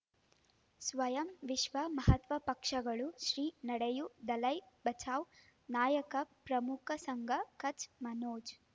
ಸ್ವಯಂ ವಿಶ್ವ ಮಹಾತ್ಮ ಪಕ್ಷಗಳು ಶ್ರೀ ನಡೆಯೂ ದಲೈ ಬಚೌ ನಾಯಕ ಪ್ರಮುಖ ಸಂಘ ಕಚ್ ಮನೋಜ್